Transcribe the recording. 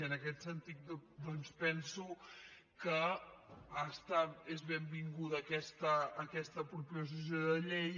i en aquest sentit doncs penso que és benvinguda aquesta proposició de llei